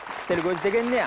тіл көз деген не